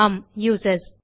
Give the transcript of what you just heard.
Aam users